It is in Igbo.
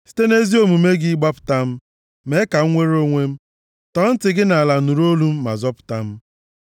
Site nʼezi omume gị, gbapụta m, mee ka m nwere onwe m; tọọ ntị gị nʼala nụrụ olu m ma zọpụta m.